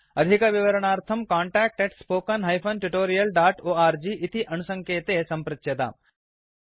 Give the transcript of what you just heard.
अधिकविवरणार्थं contact spoken tutorialorg इति अणुसङ्केते सम्पृच्यताम्